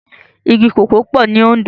Igi kókòó pò ni Ondo